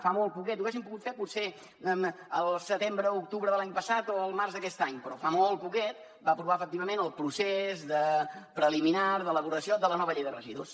fa molt poquet ho haguéssim pogut fer potser el setembre o l’octubre de l’any passat o el març d’aquest any però fa molt poquet va aprovar efectivament el procés preliminar d’elaboració de la nova llei de residus